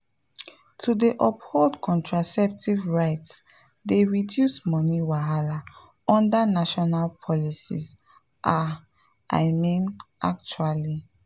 to dey uphold contraceptive rights dey reduce money wahala under national policies ah i mean actually.